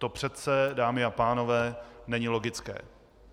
To přece, dámy a pánové, není logické.